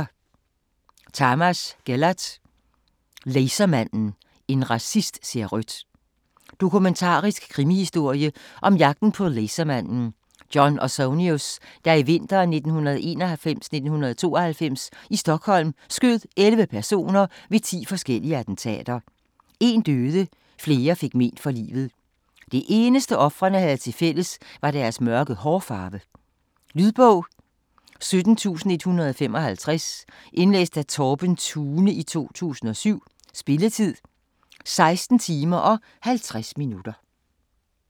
Tamas, Gellert: Lasermanden: en racist ser rødt Dokumentarisk krimihistorie om jagten på lasermanden, John Ausonius, der i vinteren 1991-1992 i Stockholm skød 11 personer ved 10 forskellige attentater. Én døde, flere fik mén for livet. Det eneste ofrene havde til fælles var deres mørke hårfarve. Lydbog 17155 Indlæst af Torben Thune, 2007. Spilletid: 16 timer, 50 minutter.